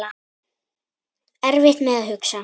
Erfitt með að hugsa.